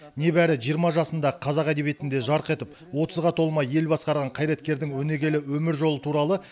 небәрі жиырма жасында қазақ әдебиетінде жарқ етіп отызға толмай ел басқарған қайраткердің өнегелі өмір жолы туралы